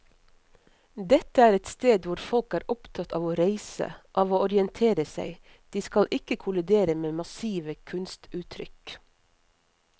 Dette er et sted hvor folk er opptatt av å reise, av å orientere seg, de skal ikke kollidere med massive kunstuttrykk.